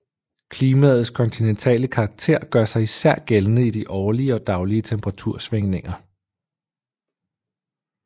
Klimaets kontinentale karakter gør sig især gældende i de årlige og daglige temperatursvingninger